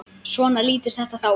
Svona lítur þetta þá út.